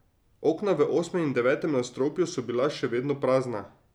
Okna v osmem in devetem nadstropju so bila še vedno prazna.